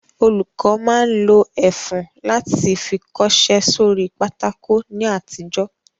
Olùkọ́ máa ń lo ẹfun láti fi kọṣẹ́ sórí pátákó ní àtijọ́